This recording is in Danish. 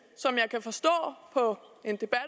som jeg kan forstå på